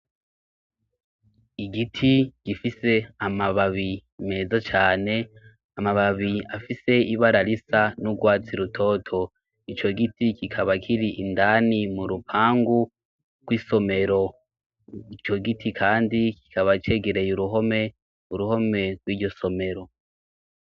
igiti gifise amababi meza cyane amababi afise ibara risa n'ugwatsi rutoto icyo giti kikaba kiri indani mu rupangu rw'isomero icyo giti kandi kikaba cegereye uruhome uruhome rw'iryo somero